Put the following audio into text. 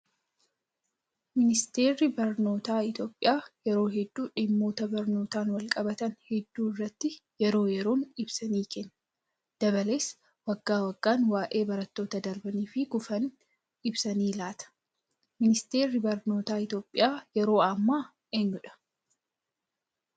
Ministeerri barnootaa Itoophiyaa yeroo hedduu dhimmoota barnootaan wal qabatan hedduu irratti yeroo yeroon ibsa ni kenna. Dabalees waggaa waggaan waayee barattoota darbanii fi kufanii ibsa ni laata. Ministeerri barnootaa Itoophiyaa yeroo ammaa eenyudhaa?